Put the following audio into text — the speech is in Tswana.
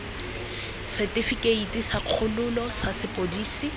setifikeite sa kgololo sa sepodisi